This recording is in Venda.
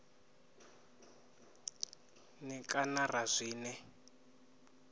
n e kana ra zwine